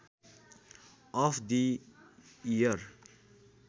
of the year